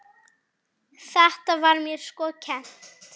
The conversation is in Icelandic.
Þetta var mér sko kennt.